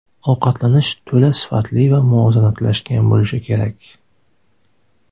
Ovqatlanish to‘la sifatli va muvozanatlashgan bo‘lishi kerak.